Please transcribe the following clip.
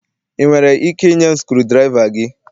Ị nwere ike ịnye m screwdriva gị?